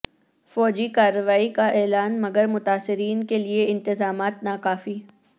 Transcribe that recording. فوجی کارروائی کا اعلان مگر متاثرین کے لیے انتظامات ناکافی